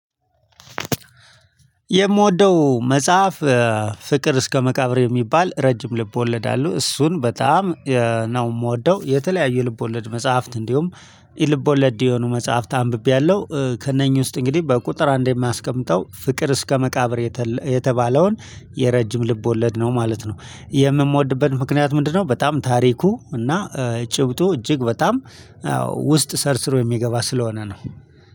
የምወደው መጽሐፍ ፍቅር እስከ መቃብር የሚባል ረጅም ልብ ወለድ አሉ እሱን በጣም ነው የምወደው። የተለያየ የልቦለድ መጽሐፍት እንዲሁም ኢ ልቦለድ የሆኑ መጽሐፍት አንብቤያለሁ። ከእነኚህ ውስጥ እንግዲህ በቁጥር አንድ የማስቀምጠው ፍቅር እስከ መቃብር የተባለውን የረጅም ልብ ወለድ ነው ማለት ነው። የምምወድበት ምክንያት ምንድነው? በጣም ታሪኩ እና ጭብጡ እጅግ በጣም ውስጥ ሰርሰሮ የሚገባ ስለሆነ ነው